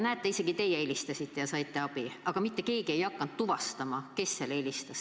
Näete, isegi teie helistasite ja saite abi, aga mitte keegi ei hakanud tuvastama, kes helistas.